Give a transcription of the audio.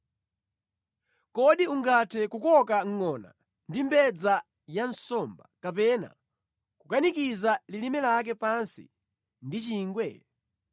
“Kodi ungathe kukoka ngʼona ndi mbedza ya nsomba kapena kukanikiza lilime lake pansi ndi chingwe?